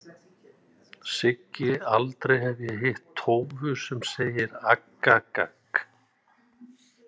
Siggi Aldrei hef ég hitt tófu sem segir aggagagg.